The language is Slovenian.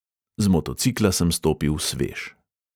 Z motocikla sem stopil svež.